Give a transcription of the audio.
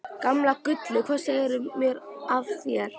Gamla gullið, hvað segirðu mér af þér?